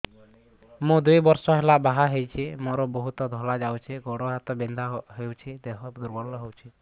ମୁ ଦୁଇ ବର୍ଷ ହେଲା ବାହା ହେଇଛି ମୋର ବହୁତ ଧଳା ଯାଉଛି ଗୋଡ଼ ହାତ ବିନ୍ଧା କରୁଛି ଦେହ ଦୁର୍ବଳ ହଉଛି